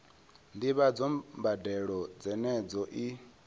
ndivhadzo ya mbadelo dzenedzo i